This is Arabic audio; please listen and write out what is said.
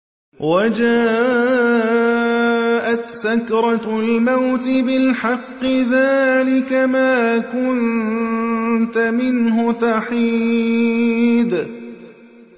وَجَاءَتْ سَكْرَةُ الْمَوْتِ بِالْحَقِّ ۖ ذَٰلِكَ مَا كُنتَ مِنْهُ تَحِيدُ